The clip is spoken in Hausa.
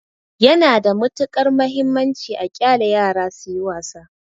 Yana da matuƙar mahimmanci a ƙyale yara suyi wasa.